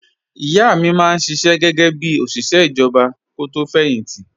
Ìyá mi máa ń ṣiṣẹ́ gẹ́gẹ́ bí òṣìṣẹ́ ìjọba kó tó fẹ̀yìn tì